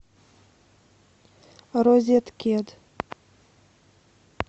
розеткед